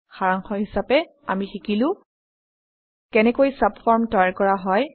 সাৰাংশ হিচাপে আমি শিকিলো কেনেকৈ চাবফৰ্ম তৈয়াৰ কৰা হয়